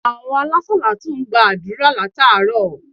Àwon alásàlátù n gba àdúrà látàárò